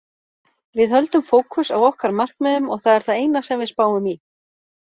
Við höldum fókus á okkar markmiðum og það er það eina sem við spáum í.